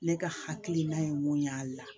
Ne ka hakilina ye mun y'a la